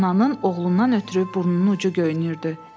Ananın oğlundan ötrü burnunun ucu göynüyürdü.